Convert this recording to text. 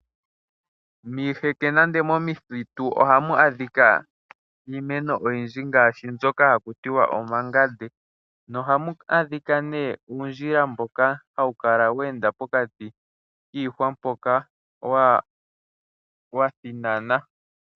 Miiheke nande momithitu ohamu adhika iimeno oyindji ngaashi, mbyoka hakutiwa omangande. Na ohamu adhika ne uundjila mboka hawu kala weenda pokati kiihwa mpoka wa, wathinana.